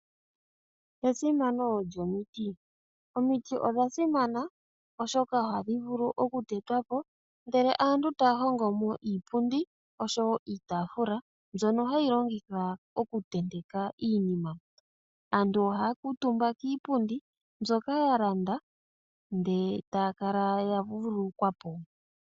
Esimano lyomiti, omiti odha simana oshoka oha dhi vulu okutetwapo ndele aantu taya hongomo iipundi oshowo iitafula mbyono hayi longithwa okutenteka iinima. Aantu oha ya kuutumba kiipundi mbyoka ya landa ndele taya kala ya vululukwapo.